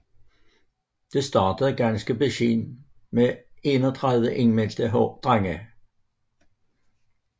Det startede ganske beskedent med 31 indmeldte drenge